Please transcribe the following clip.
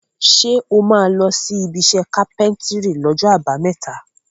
Ṣé o máa lọ ibiṣẹ́ kápẹ́ńtírì lọ́jọ́ àbámẹ́ta?